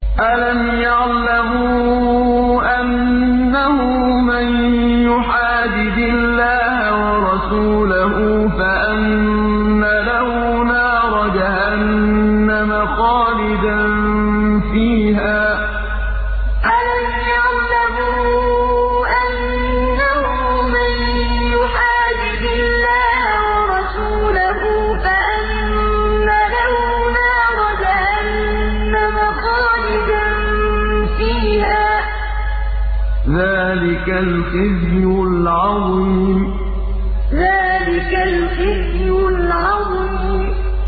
أَلَمْ يَعْلَمُوا أَنَّهُ مَن يُحَادِدِ اللَّهَ وَرَسُولَهُ فَأَنَّ لَهُ نَارَ جَهَنَّمَ خَالِدًا فِيهَا ۚ ذَٰلِكَ الْخِزْيُ الْعَظِيمُ أَلَمْ يَعْلَمُوا أَنَّهُ مَن يُحَادِدِ اللَّهَ وَرَسُولَهُ فَأَنَّ لَهُ نَارَ جَهَنَّمَ خَالِدًا فِيهَا ۚ ذَٰلِكَ الْخِزْيُ الْعَظِيمُ